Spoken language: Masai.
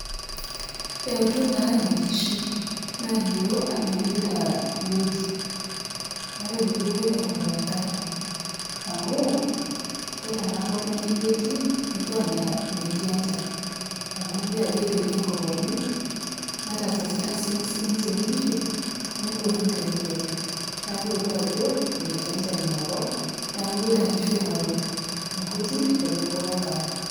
Eutu naa inkishu. Naalio anaa epuita wueji, matejo kepuoita aing'oru enkare. Amuu kore ena kop naijoiyie etii etiiu anaa metii enchan, amu kelio ajo etoiyo enkop oleng', netasasita sii sininje inkishu, nebore eterit oleng'. Neaku eutu ajo metii enchan ina kop neaku epuoita inkishu aing'oru inkujit wenkare.